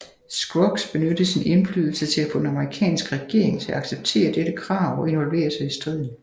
Scruggs benyttede sin indflydelse til at få den amerikanske regering til at acceptere dette krav og involvere sig i striden